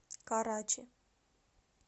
карачи